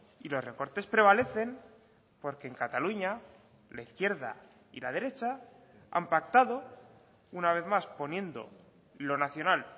y los recortes prevalecen porque en cataluña la izquierda y la derecha han pactado una vez más poniendo lo nacional